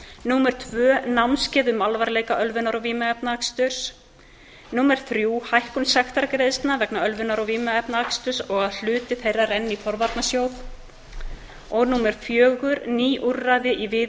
mæling öndunarsýnis annað námskeið um alvarleika ölvunar og vímuefnaaksturs þriðja hækkun sektargreiðslna vegna ölvunar og vímuefnaaksturs og að hluti þeirra renni í forvarnasjóð fjórða ný úrræði í